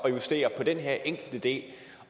at justere på den her enkelte del